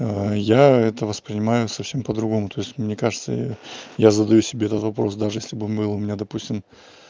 я это воспринимаю совсем по-другому то есть мне кажется я я задаю себе этот вопрос даже если он был бы у меня допустим